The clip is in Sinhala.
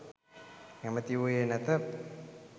කැමැති වූයේ නැත.